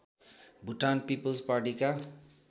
Bhutan people's पार्टीका